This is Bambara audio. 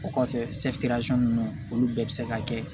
O kɔfɛ ninnu olu bɛɛ bɛ se ka kɛ